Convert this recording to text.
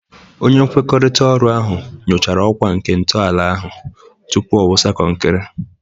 Onye nkwekọrịta oru ahụ nyochara ọkwa nke ntọala ahụ tupu ọ wụsa konkiri.